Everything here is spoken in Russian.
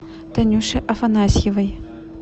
танюше афанасьевой